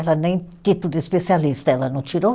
Ela nem título de especialista, ela não tirou?